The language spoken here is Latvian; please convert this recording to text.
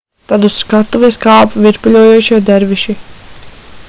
tad uz skatuves kāpa virpuļojošie derviši